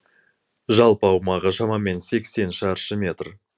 жалпы аумағы шамамен сексен шаршы метр